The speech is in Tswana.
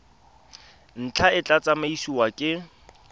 ntlha e tla tsamaisiwa ke